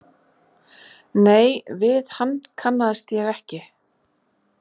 Nei, við hann kannaðist ég ekki.